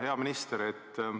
Hea minister!